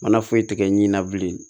Mana foyi tigɛ ɲinɛna bilen